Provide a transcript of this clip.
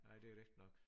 Nej det rigtigt nok